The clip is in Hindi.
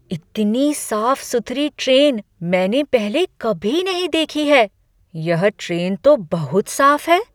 इतनी साफ सुथरी ट्रेन मैंने पहले कभी नहीं देखी है। यह ट्रेन तो बहुत साफ है!